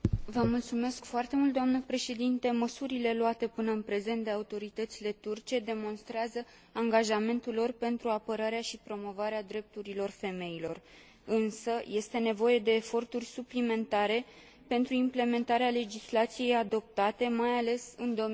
Măsurile luate până în prezent de autoritățile turce demonstrează angajamentul lor pentru apărarea și promovarea drepturilor femeilor, însă este nevoie de eforturi suplimentare pentru implementarea legislației adoptate, mai ales în domenii precum violența domestică.